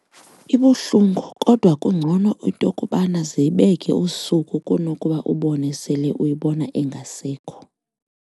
Ibuhlungu kodwa kungcono into kubana ze ibeke usuku kunokuba ubone sele uyibona ingasekho.